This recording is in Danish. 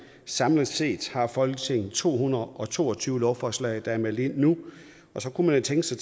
samlet set har folketinget to hundrede og to og tyve lovforslag der er meldt ind nu og så kunne man tænke sig